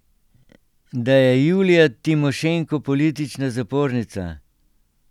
Da je Julija Timošenko politična zapornica?